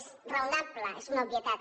és raonable és una obvietat